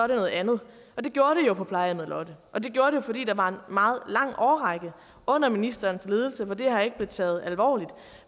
noget andet og det gjorde jo på plejehjemmet lotte og det gjorde det jo fordi der var en meget lang årrække under ministerens ledelse hvor det her ikke blev taget alvorligt